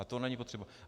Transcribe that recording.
A to není potřeba.